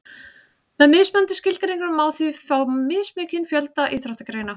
með mismunandi skilgreiningum má því fá mismikinn fjölda íþróttagreina